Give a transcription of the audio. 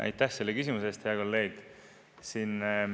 Aitäh selle küsimuse eest, hea kolleeg!